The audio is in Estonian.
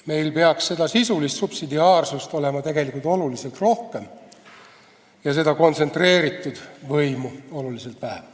Meil peaks sisulist subsidiaarsust olema oluliselt rohkem ja kontsentreeritud võimu oluliselt vähem.